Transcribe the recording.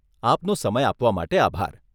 આપનો સમય આપવા માટે આભાર.